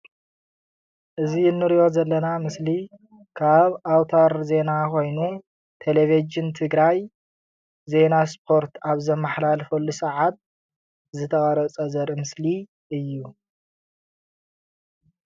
እዚ ንሪኦ ዘለና ምስሊ ካብ ኣዉታር ዜና ኮይኑ ቴሌቪዥን ትግራይ ዜና ስፖርት ኣብ ዝመሓላለፈሉ ሰዓት ዝተቀረፀ ዘርኢ ምስሊ እዪ ።